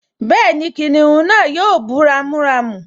Bẹ́ẹ̀ni, kìnìún náà yóò bú ramúramù